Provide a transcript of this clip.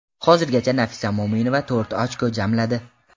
Hozirgacha Nafisa Mo‘minova to‘rt ochko jamladi.